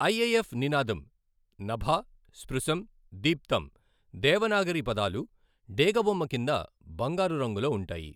IAF నినాదం నభ స్పృశం దీప్తం దేవనాగరి పదాలు డేగ బొమ్మ కింద బంగారు రంగులో ఉంటాయి.